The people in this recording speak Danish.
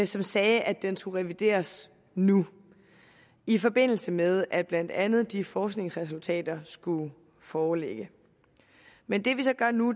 som sagde at den skulle revideres nu i forbindelse med at blandt andet de forskningsresultater skulle foreligge men det vi så gør nu